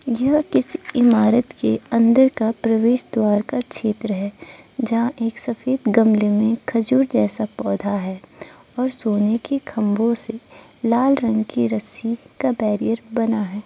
यह किसी इमारत के अंदर का प्रवेश द्वार का क्षेत्र है जहां एक सफेद गमले में खजूर जैसा पौधा है और सोने की खम्बो से लाल रंग की रस्सी का बेरियर बना है।